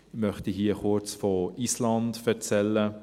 Ich möchte hier kurz von Island erzählen: